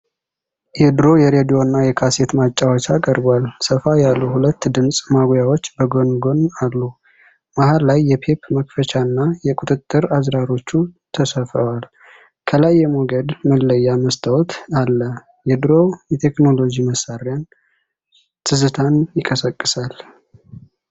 የድሮ የሬዲዮና የካሴት ማጫወቻ ቀርቧል። ሰፋ ያሉ ሁለት ድምፅ ማጉያዎች በጎን ጎን አሉ። መሃል ላይ የቴፕ መክፈቻውና የቁጥጥር አዝራሮቹ ተሰፍረዋል። ከላይ የሞገድ መለያ መስታወት አለ። የድሮው የቴክኖሎጂ መሣሪያ ትዝታን ይቀሰቅሳል።